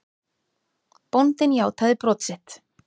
Bóndinn játaði brot sitt.